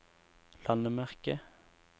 landemerke